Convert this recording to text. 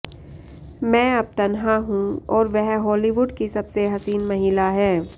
मैं अब तन्हा हूं और वह हालीवुड की सबसे हसीन महिला हैं